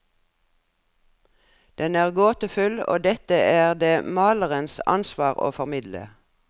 Den er gåtefull, og dette er det malerens ansvar å formidle.